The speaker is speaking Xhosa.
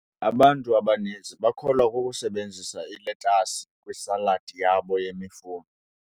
Abantu abaninzi bakholwa kukusebenzisa iletasi kwisaladi yabo yemifuno.